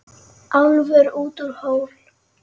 Álfur út úr hól.